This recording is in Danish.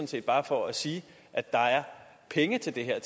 set bare for at sige at der er penge til det her